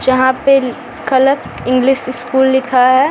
जहाँ पे collect English school लिखा है।